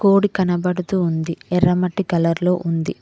Board కనబడుతూ ఉంది ఎర్రమట్టి కలర్ లో ఉంది.